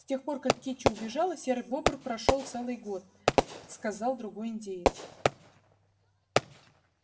с тех пор как кичи убежала серый бобр прошёл целый год сказал другой индеец